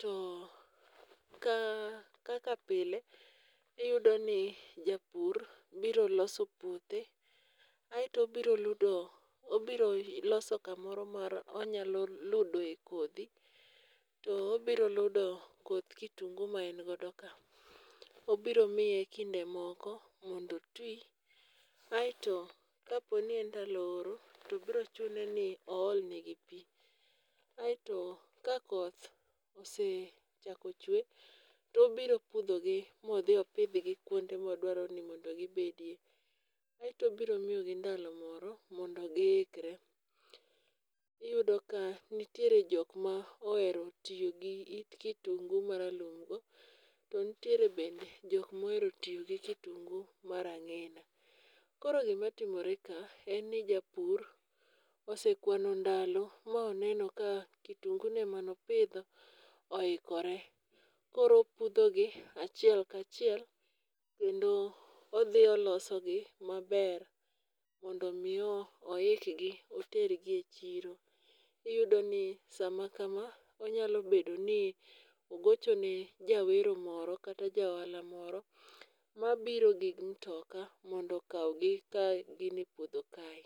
to kaka pile iyudo ni japur biro loso puothe aeto obiro ludo obiro loso kamoro ma onyalo ludoe kodhi to obiro ludo koth kitungu ma en godo ka. Obiro miye kinde moko mondo oti kaeto kaponi en ndalo oro to biro chune ni ool negi pi. kaeto kakoth osechako chwe to obiro pudhogi ma odhi opidhgi kama odwaro ni mondo gibedie. Aeto obiro miyogi ndalo moro mondo giikre, iyudo ka nitiere jok ma ohero tiyo gi it kitungu maralum go to nitiere bende jok mohero tiyo gi kitungu mar ang'ina. Koro gimatimore ka, en ni japur osekwano ndalo moneno ka kitungune mane opidho oikore. Koro opudhogi achiel kachiel koro olosogi maber mondo mi oikgi otergi e chiro. Iyudoni samakam onyalo bedo ni ogocho ni jawero moro kata ja ohala moro mabiro gi mutoka mondo okaw gi kapod gin e puodho kae.